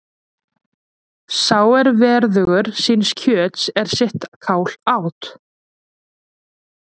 Sá er verðugur síns kjöts er sitt kál át.